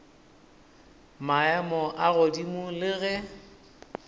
maemo a godimo le ge